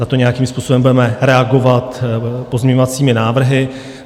Na to nějakým způsobem budeme reagovat pozměňovacími návrhy.